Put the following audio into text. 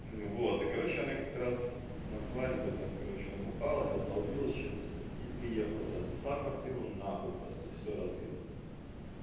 вот и короче она как-то раз на свадьбе там короче набухалась обдолбилась чем-то и приехала разнесла квартиру нахуй просто всё разбила